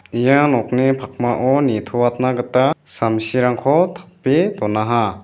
ia nokni pakmao nitoatna gita samsirangko tape donaha.